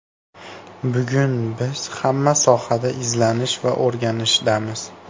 Bugun biz hamma sohada izlanish va o‘rganishdamiz.